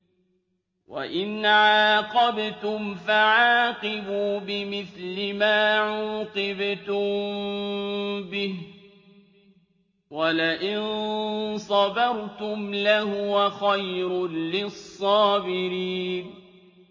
وَإِنْ عَاقَبْتُمْ فَعَاقِبُوا بِمِثْلِ مَا عُوقِبْتُم بِهِ ۖ وَلَئِن صَبَرْتُمْ لَهُوَ خَيْرٌ لِّلصَّابِرِينَ